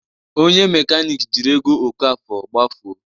Onye mekaniki jiri ego Okafor gbafuo